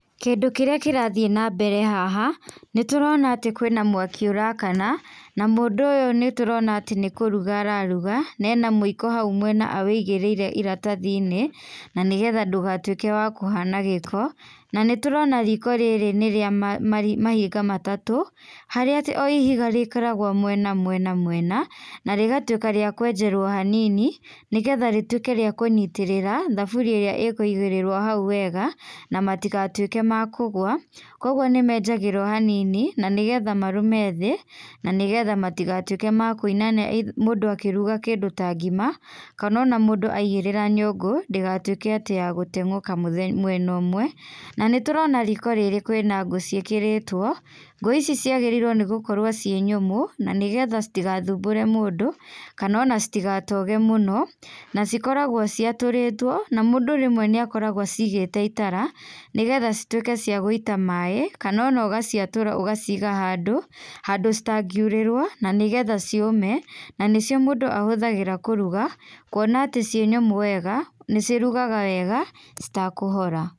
Kĩndũ kĩrĩa kĩrathiĩ na mbere haha, nĩtũrona atĩ kwĩ na mwaki ũrakana, na mũndũ ũyũ nĩtũrona atĩ nĩkũruga araruga, na ena mũiko hau mwena awũigĩrĩire iratathi-inĩ, nanĩgetha ndũgatuĩke wa kũhana gĩko, nanĩtũrona riko rĩrĩ nĩrĩa ma mari mahiga matatũ, harĩa atĩ o ihiga rĩkoragwo mwena mwena mwena, na rĩgatuĩka rĩa kwenjerwo hanini, nĩgetha rĩtuĩke rĩa kũnyitĩrĩra thaburia ĩrĩa ĩkũigĩrĩrwo hau wega, na matigatuĩke makũgũa, koguo nĩmenjagĩrwo hanini, na nĩgetha marũme thĩ, na nĩgetha matigatuĩke ma kũinana mũndũ akĩruga kĩndũ ta ngima, kanona mũndũ aigĩrĩra nyũngũ, ndĩgatuĩke ya gũteng'ũka mũthe mwena ũmwe, nanĩtũrona riko rĩrĩ kwĩna ngũ ciĩkĩrĩtwo, ngũ ici ciagĩrĩirwo nĩ gũkorwo ciĩ nyũmũ, na nĩgetha citigathumbũre mũndũ, kanona citigatoge mũno, nacikoragwo ciatũrĩtwo, na mũndũ rĩmwe nĩakoragwo acigĩte itara, nĩgetha cituĩke cia gũita maĩ, kanona ũgaciatũra ũgaciiga handũ, handũ citangiurĩrwo, nanĩgetha ciũme, na nĩcio mũndũ ahũthagĩra kũruga, kuona atĩ ciĩ nyũmũ wega, nĩcirugaga wega citakũhora.